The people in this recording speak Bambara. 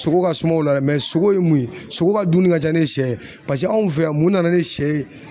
Sogo ka sumaw la dɛ sogo ye mun ye sogo ka dumuni ka ca ni sɛ ye paseke anw fɛ yan mun nana ni sɛ ye?